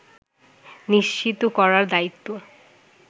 নিশ্চিত করার দায়িত্ব